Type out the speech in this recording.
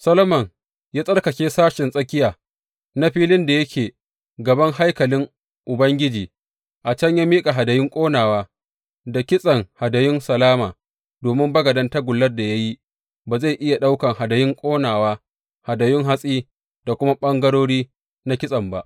Solomon ya tsarkake sashen tsakiya na filin da yake gaban haikalin Ubangiji, a can ya miƙa hadayun ƙonawa da kitsen hadayun salama domin bagaden tagullar da ya yi ba zai iya ɗaukan hadayun ƙonawa, hadayun hatsi da kuma ɓangarori na kitsen ba.